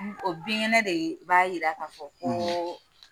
O binkɛnɛ de b'a yira k'a fɔ ko